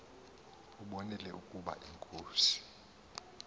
ubonile ukaba inkosi